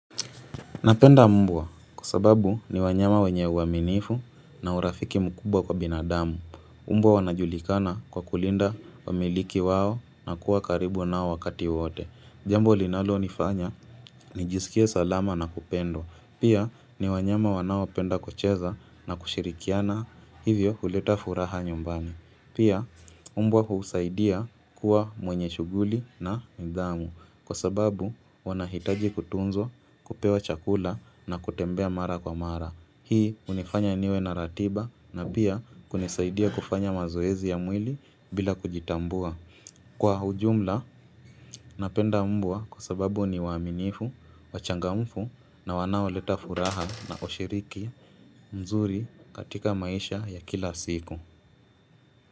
Napenda mbwa kwa sababu ni wanyama wenye uaminifu na urafiki mkubwa kwa binadamu. Mbwa wanajulikana kwa kulinda wamiliki wao na kuwa karibu nao wakati wote. Jambo linalo nifanya nijisikie salama na kupendwa Pia ni wanyama wanaopenda kucheza na kushirikiana hivyo huleta furaha nyumbani. Pia, mbwa humsaidia kuwa mwenye shuguli na nidhamu kwa sababu wanahitaji kutunzwa, kupewa chakula na kutembea mara kwa mara. Hii hunifanya niwe na ratiba na pia kunisaidia kufanya mazoezi ya mwili bila kujitambua. Kwa ujumla, napenda mbwa kwa sababu ni waaminifu, wachangamfu na wanaoleta furaha na hushiriki mzuri katika maisha ya kila siku.